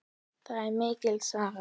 Það er mikil saga.